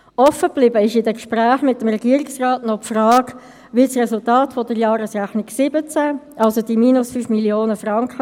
Die Gemeinden im Kanton Bern haben dieses Rechnungsmodell schon seit Längerem eingeführt, der Kanton folgt nun mit der Rechnung 2017 nach.